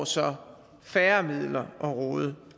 så færre midler at råde